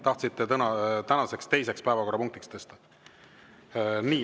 Kas nii?